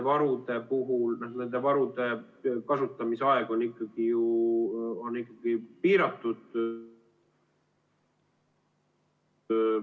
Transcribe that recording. Ja nende varude kasutamise aeg on ikkagi ju piiratud.